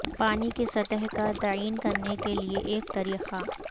پانی کی سطح کا تعین کرنے کے لئے ایک طریقہ